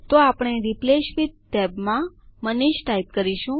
તો આપણે replace with ટેબમાં મનીષ ટાઈપ કરીશું